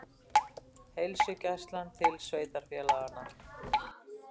Heilsugæslan til sveitarfélaganna